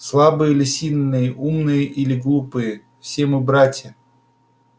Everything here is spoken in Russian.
слабые или сильные умные или глупые все мы братья